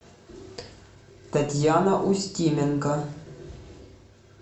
татьяна устименко